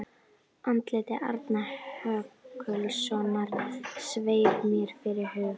Andlit Arnar Höskuldssonar sveif mér fyrir hug